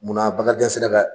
Munna Bakarijan se ùa ka